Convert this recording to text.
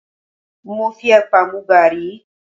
Mo fi epa mu garí